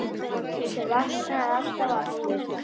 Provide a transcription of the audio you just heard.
Hann Lási vaknar alltaf aftur.